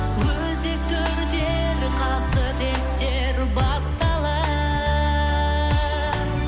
өзекті өртер қасіреттер басталар